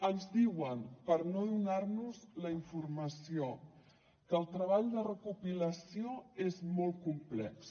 ens diuen per no donar nos la informació que el treball de recopilació és molt complex